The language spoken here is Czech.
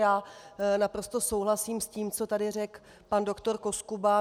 Já naprosto souhlasím s tím, co tady řekl pan doktor Koskuba.